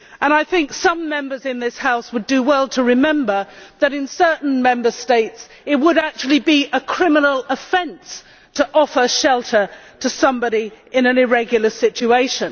I think some Members in this House would do well to remember that in certain Member States it would actually be a criminal offence to offer shelter to somebody in an irregular situation.